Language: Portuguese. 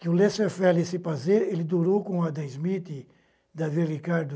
Que o Lester, ele durou com o Adam Smith, Davi Ricardo,